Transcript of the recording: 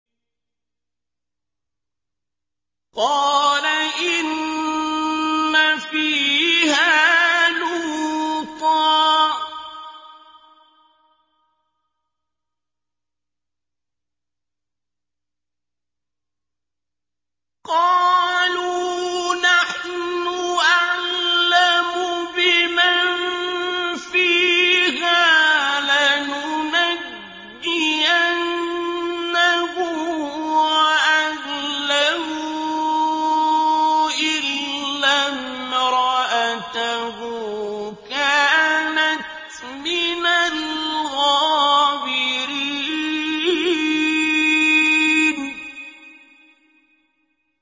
قَالَ إِنَّ فِيهَا لُوطًا ۚ قَالُوا نَحْنُ أَعْلَمُ بِمَن فِيهَا ۖ لَنُنَجِّيَنَّهُ وَأَهْلَهُ إِلَّا امْرَأَتَهُ كَانَتْ مِنَ الْغَابِرِينَ